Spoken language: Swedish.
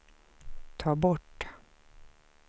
ta bort